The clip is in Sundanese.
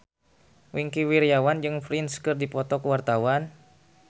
Wingky Wiryawan jeung Prince keur dipoto ku wartawan